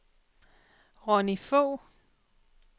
Ronni Fogh